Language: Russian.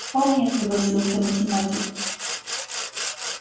вполне согласился математик